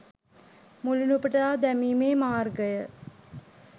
මුලිනුපුටා දැමීමේ මාර්ගය